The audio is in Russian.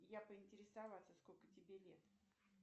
я поинтересоваться сколько тебе лет